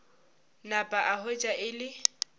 napa a hwetša e le